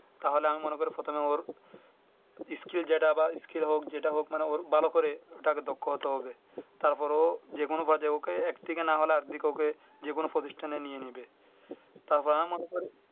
তাহলে আমি মনে করে প্রথমে ওর skill যেটা বা skill হোক যেটা হোক মানে ভালো করে ওটা হবে দক্ষ হতে হবে তারপরেও যে কোন কাজে একদিকে না হলে আর আরেক দিকে ওকে যে কোন প্রতিষ্ঠানে নিয়ে নিবে। তারপর আমার ওপর